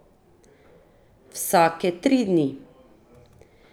Vsake tri dni!